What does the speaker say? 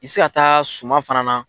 I bɛ se ka taa suma fana na.